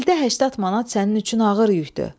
İldə 80 manat sənin üçün ağır yükdür.